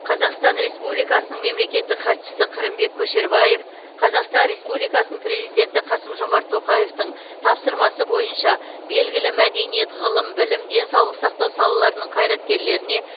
қазақстан республикасының мемлекеттік хатшысы қырымбек көшербаев қазақстан республикасының президенті қасым жомарт тоқаевтың тапсырмасы бойынша белгілі мәдениет ғылым білім денсаулық сақтау салаларының қайраткерлеріне